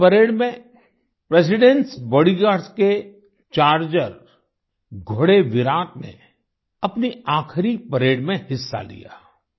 इस परेड में presidentएस बॉडीगार्ड्स के चार्जर घोड़े विराट ने अपनी आख़िरी परेड में हिस्सा लिया